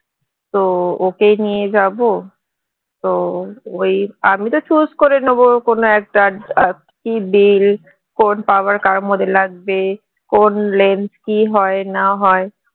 তো ওকেই নিয়ে যাবো তো ওই আমি তো choose করে নেবো কোনো একটা . কোন power কার মধ্যে লাগবে কোন lens কি হয় না হয়